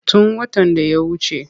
Tun watan da ya wace.